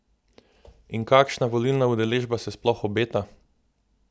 In kakšna volilna udeležba se sploh obeta?